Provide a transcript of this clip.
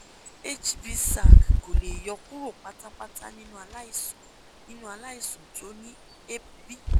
hbsag kò lè yo kúrò pátápátá nínú aláìsàn nínú aláìsàn tó ní hepb